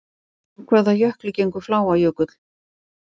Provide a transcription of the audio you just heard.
Úr hvaða jökli gengur Fláajökull?